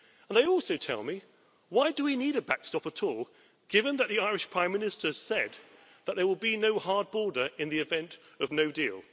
They also ask me why we need a backstop at all, given that the Irish Prime Minister said that there will be no hard border in the event of no deal.